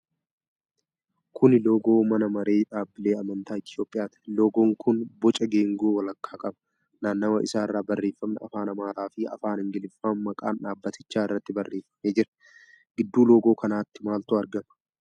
Kuni loogoo mana maree dhaabbilee amantaa Itoophiyaati. Loogoon kun boca geengoo walakkaa qaba. Naannawa isaarra barreefamni afaan Amaaraa fi afaan Ingiliffaan maqaan dhaabatichaa irratti barreefamee jira. Gidduu loogoo kanaatti maaltu argma?